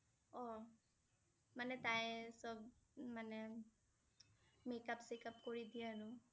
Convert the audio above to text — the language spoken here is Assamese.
অ' মানে তাই সব মানে makeup চেক আপ কৰি দিয়ে আৰু